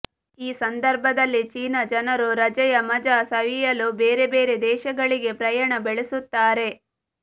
ಈ ಸಂದರ್ಭದಲ್ಲಿ ಚೀನಾ ಜನರು ರಜೆಯ ಮಜ ಸವಿಯಲು ಬೇರೆ ಬೇರೆ ದೇಶಗಳಿಗೆ ಪ್ರಯಾಣ ಬೆಳೆಸುತ್ತಾರೆ